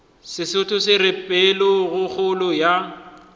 sesotho se re pelokgolo ya